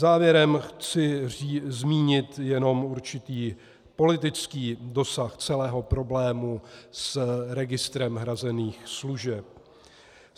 Závěrem chci zmínit jenom určitý politický dosah celého problému s registrem hrazených služeb.